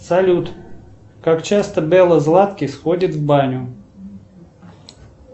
салют как часто белла златкис ходит в баню